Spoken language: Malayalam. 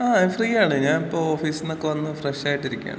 ങ്ങാ, ഞാൻ ഫ്രീയാണ്. ഞാൻ ഇപ്പോ ഓഫീസിന്നക്കെ വന്ന് ഫ്രഷ് ആയിട്ട് ഇരിക്കയാണ്.